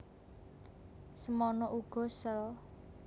Semana uga sel